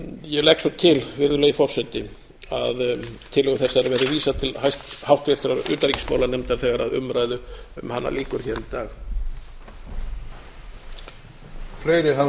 ég legg svo til virðulegi forseti að tillögu þessari verði vísað til háttvirtrar utanríkismálanefndar þegar umræðu um hana lýkur hér í dag